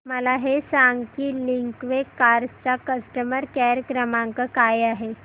मला हे सांग की लिंकवे कार्स चा कस्टमर केअर क्रमांक काय आहे